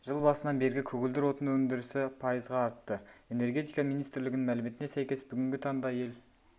жыл басынан бергі көгілдір отын өндірісі пайызға артты энергетика министрлігінің мәліметіне сәйкес бүгінгі таңда ел